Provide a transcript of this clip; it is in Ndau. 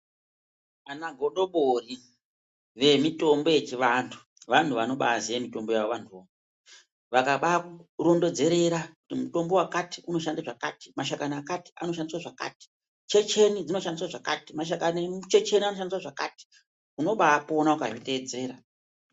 Vana godobori vemutombo yechivantu vantu vanobaiziva mitombo yavo vakabaikurondedzera mutombo wakati unoshanda zvakati mashakani akati anoshandiswa zvakati nenjenjeni dzinoshandiswa zvakati maruwa emunjenjeni anoshanda zvakati unobapona ukazvitedzera.